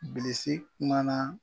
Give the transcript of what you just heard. Bilisi kumana.